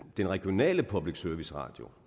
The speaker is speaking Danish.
den regionale public service radio